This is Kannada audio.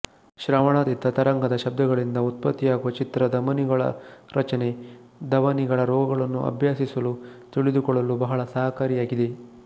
ಶ್ರವಣಾತೀತ ತರಂಗದ ಶಬ್ದಗಳಿಂದ ಉತ್ಪತ್ತಿಯಾಗುವ ಚಿತ್ರ ಧಮನಿಗಳ ರಚನೆ ಧವನಿಗಳ ರೋಗಗಳನ್ನು ಅಭ್ಯಸಿಸಲು ತಿಳಿದುಕೊಳ್ಳಲು ಬಹಳ ಸಹಕಾರಿಯಾಗಿದೆ